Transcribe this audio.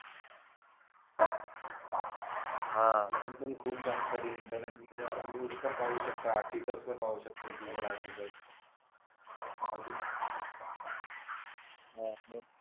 हा अजून पण खूप जानकारी इंटर इंटरनेटवर आपण न्यूज पण पाहू शकता आर्टिकल पण पाहू शकतो गुगल आर्टिकल्स अजून